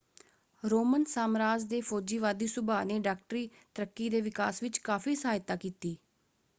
Roman ਸਾਮਰਾਜ ਦੇ ਫੌਜੀਵਾਦੀ ਸੁਭਾਅ ਨੇ ਡਾਕਟਰੀ ਤਰੱਕੀ ਦੇ ਵਿਕਾਸ ਵਿੱਚ ਕਾਫ਼ੀ ਸਹਾਇਤਾ ਕੀਤੀ।